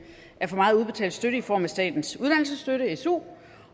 af for meget udbetalt støtte i form af statens uddannelsesstøtte su